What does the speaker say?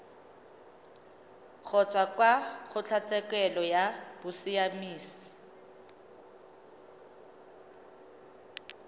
kgotsa kwa kgotlatshekelo ya bosiamisi